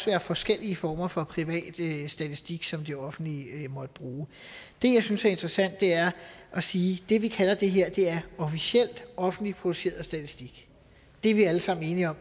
være forskellige former for privat statistik som det offentlige måtte bruge det jeg synes er interessant er at sige at det vi kalder det her er officielt offentligt produceret statistik det er vi alle sammen enige om